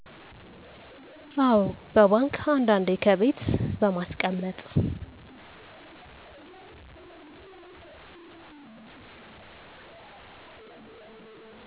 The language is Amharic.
አዎ በባንክ አንዳንዴ ከቤት በማስቀመጥ